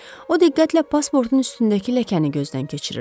O diqqətlə pasportun üstündəki ləkəni gözdən keçirirdi.